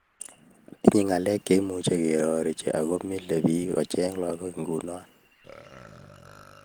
Tinyei ngalek chemuch kerorechi ago mile biich ochei laggokab nguno